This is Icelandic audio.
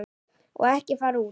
Og ekki fara út.